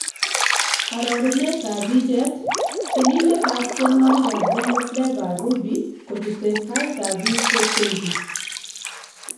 Arorunet ab bicheet , tyenindet ab tyenwokik ab Bongo fleva Ruby kochute tait ab biik kotyenji.